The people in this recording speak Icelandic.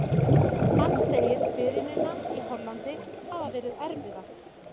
Hann segir byrjunina í Hollandi hafa verið erfiða.